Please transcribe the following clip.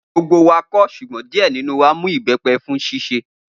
Gbogbo wa kò, ṣùgbọ́n díè nínú wa mu ìbẹ́pẹ fún d